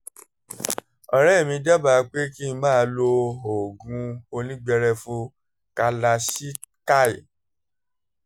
ọ̀rẹ́ mi dábàá pé kí n máa lo oògùn onígbẹrẹfu kalachikai